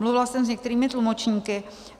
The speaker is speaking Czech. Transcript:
Mluvila jsem s některými tlumočníky.